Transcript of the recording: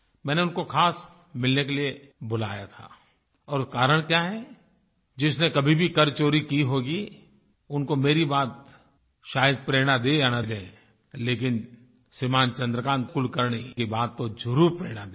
मैंने उनको खास मिलने के लिए बुलाया था और कारण क्या है जिसने कभी भी कर चोरी की होगी उनको मेरी बात शायद प्रेरणा दे या ना दे लेकिन श्रीमान चन्द्रकान्त कुलकर्णी की बात तो ज़रूर प्रेरणा देगी